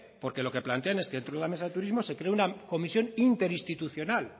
porque lo que plantean es que dentro de la mesa de turismo se crea una comisión interinstitucional